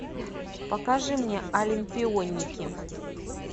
покажи мне олимпионики